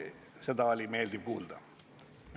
Seda oli meeldiv kuulda.